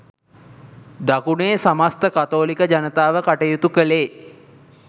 දකුණේ සමස්ත කතෝලික ජනතාව කටයුතු කළේ